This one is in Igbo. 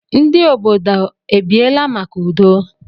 Ndi obodo ebiela maka udo?